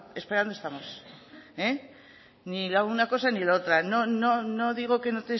esperando estamos ni la una cosa ni la otra no digo que no